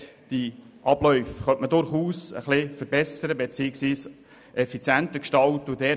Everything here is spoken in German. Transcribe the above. Diese Abläufe könnten durchaus verbessert beziehungsweise effizienter gestaltet werden.